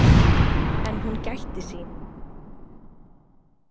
En hún gætti sín.